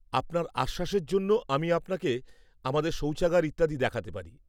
আপনার আশ্বাসের জন্য আমি আপনাকে আমাদের সৌচাগার ইত্যাদি দেখাতে পারি।